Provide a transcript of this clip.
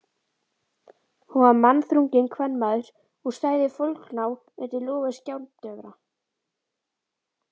Hún var magnþrunginn kvenmaður og stæði foldgná undir lofi skáldjöfra.